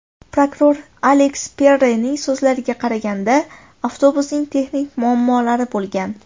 Prokuror Aleks Perrenning so‘zlariga qaraganda, avtobusning texnik muammolari bo‘lgan.